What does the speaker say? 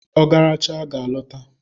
Ogaracha ga a lota.